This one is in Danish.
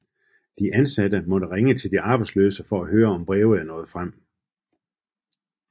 De ansatte måtte ringe til de arbejdsløse for at høre om breve er nået frem